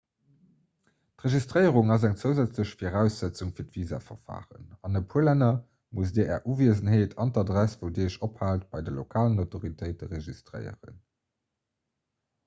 d'registréierung ass eng zousätzlech viraussetzung fir d'visaverfaren an e puer länner musst dir är uwiesenheet an adress wou dir iech ophaalt bei de lokalen autoritéite registréieren